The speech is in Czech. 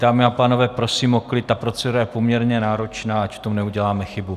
Dámy a pánové, prosím o klid, ta procedura je poměrně náročná, ať v tom neuděláme chybu.